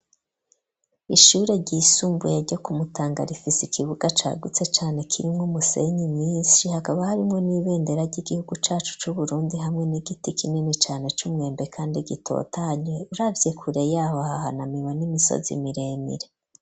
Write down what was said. ishure ry'isumbuye ryo kumutangara ifisi ikibuga ca gutse cane kirimwe umusenyi minshi hakaba harimwo n'imibendera ry'igihugu cacu c'uburundi hamwe n'igiti kinini cane cy'umwembe kandi gitotanye uravye kure yaho hahana miwa n'imisozi miremire.